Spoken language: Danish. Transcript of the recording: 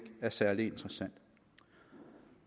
er særlig interessant